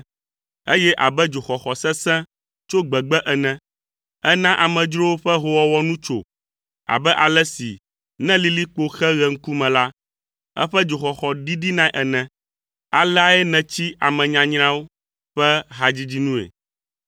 eye abe dzoxɔxɔ sesẽ tso gbegbe ene; èna amedzrowo ƒe hoowɔwɔ nu tso abe ale si ne lilikpo xe ɣe ŋkume la, eƒe dzoxɔxɔ ɖiɖinae ene. Aleae nètsi ame nyanyrawo ƒe hadzidzi nue.